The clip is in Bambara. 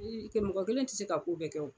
mɔgɔ kelen ti se ka k'u bɛɛ kɛ